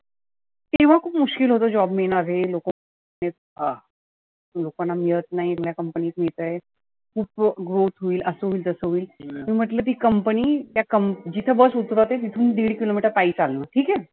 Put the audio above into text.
कि तेव्हा खुप मुश्कील होतं job मिळणं आरे. लोकांना मिळत नाही, तुला company त मिळतय. उपभोग होईल, असं होईल तसं होईल. मी म्हटलं ती company त्या कं जीथे bus उतरवते तीथुन दिड kilo meter पायी चालू ठिक आहे.